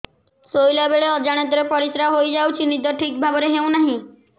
ଶୋଇଲା ବେଳେ ଅଜାଣତରେ ପରିସ୍ରା ହୋଇଯାଉଛି ନିଦ ଠିକ ଭାବରେ ହେଉ ନାହିଁ